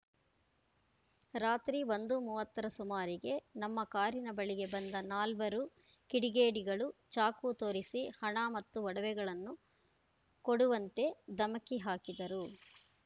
ರಾತ್ರಿ ಒಂದು ಮೂವತ್ತರ ಸುಮಾರಿಗೆ ನಮ್ಮ ಕಾರಿನ ಬಳಿಗೆ ಬಂದ ನಾಲ್ವರು ಕಿಡಿಗೇಡಿಗಳು ಚಾಕು ತೋರಿಸಿ ಹಣ ಮತ್ತು ಒಡವೆಗಳನ್ನು ಕೊಡುವಂತೆ ಧಮಕಿ ಹಾಕಿದರು